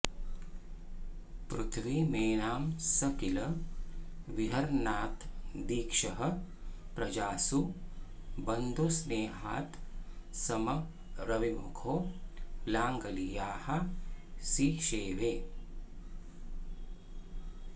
पृथ्वीमेनां स किल विहरन्नात्तदीक्षः प्रजासु बन्धुस्नेहात्समरविमुखो लाङ्गली याः सिषेवे